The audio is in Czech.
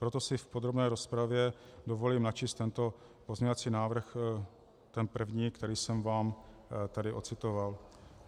Proto si v podrobné rozpravě dovolím načíst tento pozměňovací návrh, ten první, který jsem vám tady ocitoval.